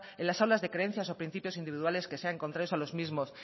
en las aulas de creencias o principios individuales que sean contrarios a los mismos